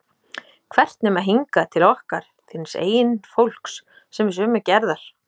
Hvert nema hingað, til okkar, þíns eigin fólks, sem er sömu gerðar?